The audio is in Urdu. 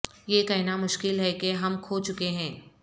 یہ کہنا مشکل ہے کہ ہم کھو چکے ہیں